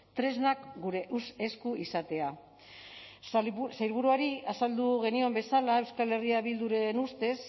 tresnak gure esku izatea sailburuari azaldu genion bezala euskal herria bilduren ustez